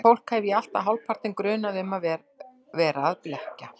Slíkt fólk hef ég alltaf hálfpartinn grunað um að vera að blekkja.